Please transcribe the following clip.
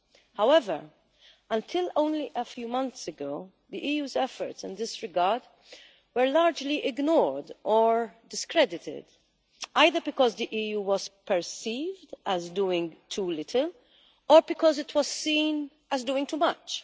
However, until only a few months ago, the EU's efforts in this regard were largely ignored or discredited, either because the EU was perceived as doing too little or because it was seen as doing too much.